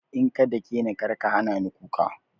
In ka dakeni karka hanani kuka